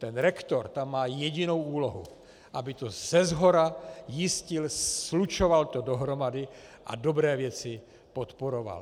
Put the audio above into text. Ten rektor tam má jedinou úlohu, aby to seshora jistil, slučoval to dohromady a dobré věci podporoval.